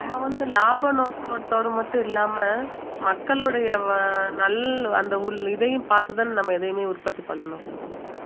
நம்ம வந்து லாப நோக்கத்தோட மட்டும் இல்லாம மக்களுடைய வ~ நல் அந்த இதையும் பார்த்து தான் நம்ம எதையுமே உற்பத்தி பண்ணணும்